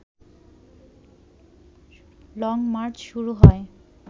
long march শুরু হয়